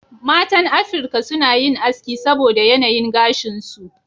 Matan Afirka suna yin aski saboda yanayin gashin su.